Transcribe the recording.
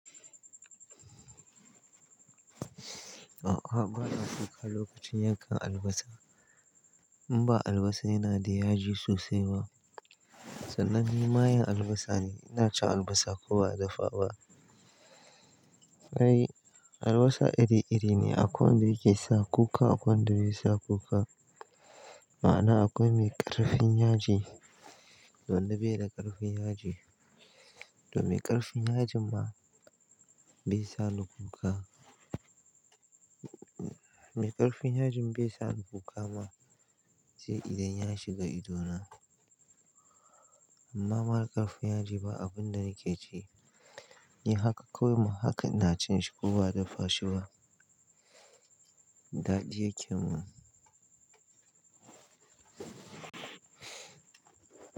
A'a, ba na cika lokacin yankan albasa. In ba albasa yana da yaji sosai ba, sannan ni mayen albasa ne, ina cin albasa ko ba dafa ba. Kai, albasa iri-iri ne, akwai wanda yake sa kuka, akwai wanda bai sa kuka. Ma'ana akwai mai ƙarfin yaji da wanda bai da ƙarfin yaji, to mai ƙarfin yajin ma bai sa ni kuka. Mai ƙarfin yajin bai sa ni kuka ma sai idan ya shiga idona. Amma marar ƙarfin yaji ba abun da yake ci, yi haka komai haka ina cin shi ko ba dafa shi ba, daɗi yake mun.